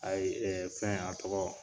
Ayi fɛn a tɔgɔ